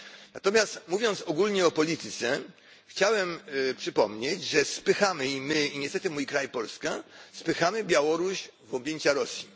Natomiast mówiąc ogólnie o polityce, chciałbym przypomnieć, że spychamy i my, i niestety mój kraj Polska, Białoruś w objęcia Rosji.